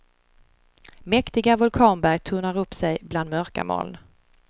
Mäktiga vulkanberg tornar upp sig bland mörka moln.